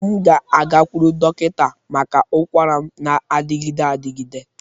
M ga-agakwuru dọkịta maka ụkwara m na-adịgide adịgide.